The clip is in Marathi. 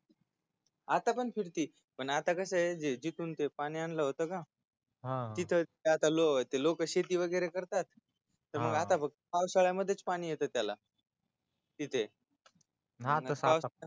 आता पण फिरती आता कसय जिथून ते पाणी आणलं होत का तिथले लोक शेती वैगरे करता त्यामुळ आता फक्त पावसाळ्यामध्येच पाणी येत त्याला तिथे